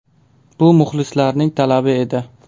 Bu muxlislarning talabi edi.